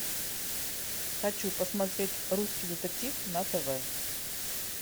хочу посмотреть русский детектив на тв